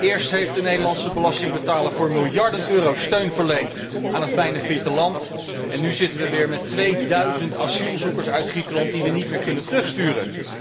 Eerst heeft de Nederlandse belastingbetaler voor miljarden euro steun verleend aan het bijna failliete land, en nu zitten wij weer met tweeduizend asielzoekers uit Griekenland die wij niet meer kunnen terugsturen.